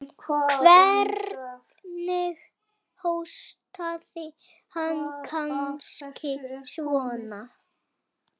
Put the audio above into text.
Hvernig hóstaði hann. kannski svona?